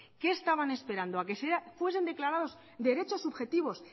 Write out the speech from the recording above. qué estaban esperando a que fuesen declarados derechos subjetivos